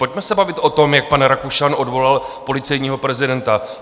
Pojďme se bavit o tom, jak pan Rakušan odvolal policejního prezidenta.